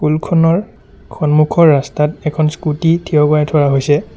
স্কুলখনৰ খন্মুখৰ ৰাস্তাত এখন স্কুটি থিয় কৰাই থোৱা হৈছে।